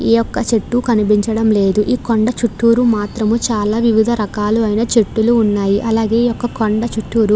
ఈ యొక్క చెట్టు కనిపించడం లేదు ఈ కొండ చుట్టూరా మాత్రమే చాలా వివిధ రకాలైన చెట్లు ఉన్నాయి అలాగే ఈ కొండ చూట్టూరు --